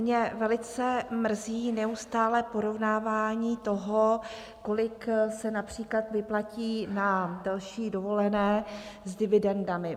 Mě velice mrzí neustálé porovnávání toho, kolik se například vyplatí na další dovolené, s dividendami.